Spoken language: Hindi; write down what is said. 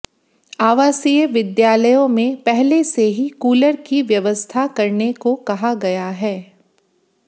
आवासीय विद्यालयों में पहले से ही कूलर की व्यवस्था करने को कहा गया है